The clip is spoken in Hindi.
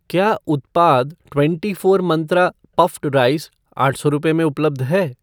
क्या उत्पाद twenty four Mantra puffed rice आठ सौ रुपये में उपलब्ध है?